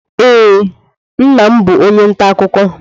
Ee, nna m bụ onye nta akụkọ.